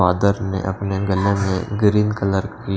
father ने अपने गले में ग्रीन कलर की--